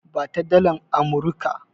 Ba ta dalar Amurika!